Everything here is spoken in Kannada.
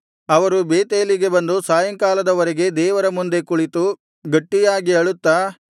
ಅವರು ಬೇತೇಲಿಗೆ ಬಂದು ಸಾಯಂಕಾಲದವರೆಗೆ ದೇವರ ಮುಂದೆ ಕುಳಿತು ಗಟ್ಟಿಯಾಗಿ ಅಳುತ್ತಾ